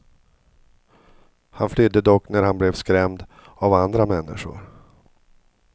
Han flydde dock när han blev skrämd av andra människor.